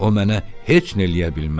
O mənə heç nə eləyə bilməz.